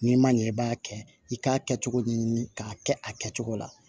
N'i ma ɲɛ i b'a kɛ i k'a kɛ cogo min k'a kɛ a kɛcogo la